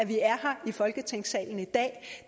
vi er her i folketingssalen i dag